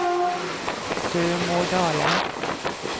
Sømådalen